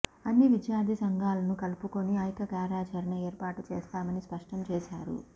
అన్ని విద్యార్థి సంఘాలను కలుపుకొని ఐక్య కార్యాచరణ ఏర్పాటు చేస్తామని స్పష్టం చేశారు